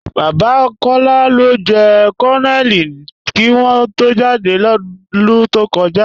Baba Kọla ló jẹ̀ Kọnónélì kí wọ̀n tó jádẹ́ lódún tó kọja.